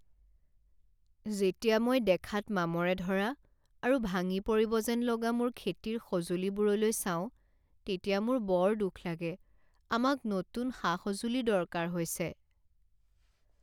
যেতিয়া মই দেখাত মামৰে ধৰা আৰু ভাঙি পৰিব যেন লগা মোৰ খেতিৰ সঁজুলিবোৰলৈ চাওঁ তেতিয়া মোৰ বৰ দুখ লাগে। আমাক নতুন সা সঁজুলিৰ দৰকাৰ হৈছে।